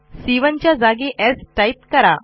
c 1 च्या जागी स् टाईप करा